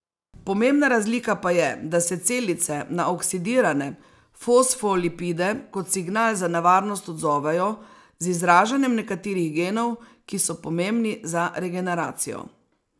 Pomembna razlika pa je, da se celice na oksidirane fosfolipide kot signal za nevarnost odzovejo z izražanjem nekaterih genov, ki so pomembni za regeneracijo.